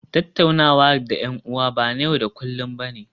Tattaunawa da 'yan'uwa ba na yau da kullun ba ne